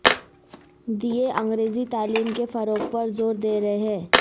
دیے انگریزی تعلیم کے فروغ پر زور دے رہے ہیں